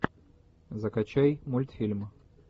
закачай мультфильм